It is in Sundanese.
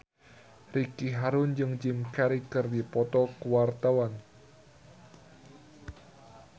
Ricky Harun jeung Jim Carey keur dipoto ku wartawan